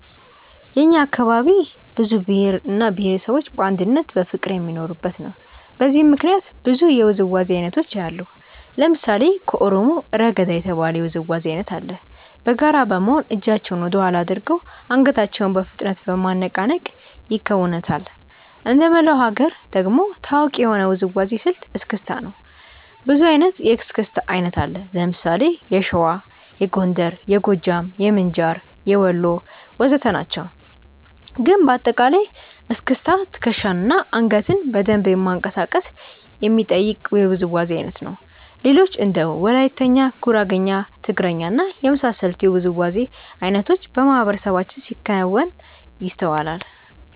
የእኛ አካባቢ ብዙ ብሄር እና ብሄረሰቦች በአንድነትና በፍቅር የሚኖሩበት ነው። በዚህም ምክንያት ብዙ የውዝዋዜ አይነቶችን አያለሁ። ለምሳሌ ከኦሮሞ "ረገዳ" የተባለ የውዝዋዜ አይነት አለ። በጋራ በመሆን እጃቸውን ወደኋላ አድርገው አንገታቸውን በፍጥነት በማነቃነቅ ይከውኑታል። እንደመላው ሀገር ደግሞ ታዋቂ የሆነው የውዝዋዜ ስልት "እስክስታ" ነው። ብዙ አይነት የእስክስታ አይነት አለ። ለምሳሌ የሸዋ፣ የጎንደር፣ የጎጃም፣ የምንጃር፣ የወሎ ወዘተ ናቸው። ግን በአጠቃላይ እስክስታ ትከሻን እና አንገትን በደንብ ማንቀሳቀስ የሚጠይቅ የውዝዋዜ አይነት ነው። ሌሎችም እንደ ወላይትኛ፣ ጉራግኛ፣ ትግርኛ እና የመሳሰሉት የውዝዋዜ አይነቶች በማህበረሰባችን ሲከወኑ ይስተዋላል።